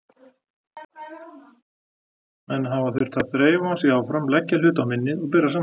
Menn hafa þurft að þreifa sig áfram, leggja hluti á minnið og bera saman.